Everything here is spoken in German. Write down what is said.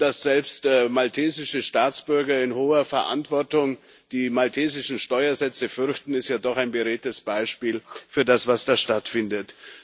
Und dass selbst maltesische Staatsbürger in hoher Verantwortung die maltesischen Steuersätze fürchten, ist ja doch ein beredtes Beispiel für das, was da stattfindet.